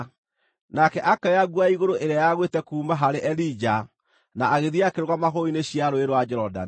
Nake akĩoya nguo ya igũrũ ĩrĩa yagwĩte kuuma harĩ Elija na agĩthiĩ akĩrũgama hũgũrũrũ-inĩ cia Rũũĩ rwa Jorodani.